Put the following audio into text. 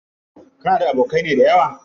Kana da abokanai dayawa?